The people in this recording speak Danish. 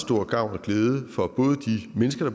men så